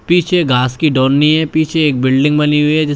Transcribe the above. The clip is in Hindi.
पीछे घास की है पीछे एक बिल्डिंग बनी हुई है जिस--